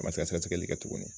A ma se ka sɛgɛsɛgɛli kɛ tuguni